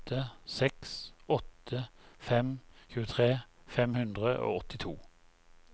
åtte seks åtte fem tjuetre fem hundre og åttito